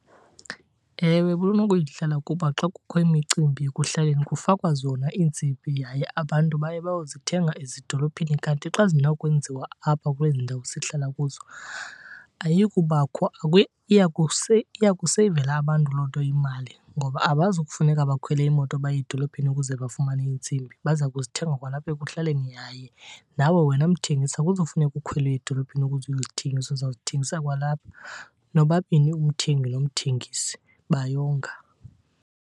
Ewe, bunokuyidlala kuba xa kukho imicimbi ekuhlaleni kufakwa zona iintsimbi yaye abantu baye bayozithenga ezidolophini. Kanti xa zinawukwenziwa apha kwezi ndawo sihlala kuzo ayiyubakho, iya kuseyivela abantu loo nto imali. Ngoba abazukufuneka bakhwele imoto baye edolophini ukuze bafumane iintsimbi, baza kuzithenga kwalapha ekuhlaleni. Yaye nawe wena mthengisi akuzufuneka ukhwele uye edolophini ukuze uyozithengisa, uzawuzithengisa kwalapha. Nobabini umthengi nomthengisi bayonga.